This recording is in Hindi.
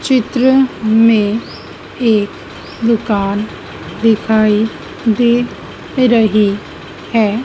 चित्र में एक दुकान दिखाई दे रही है।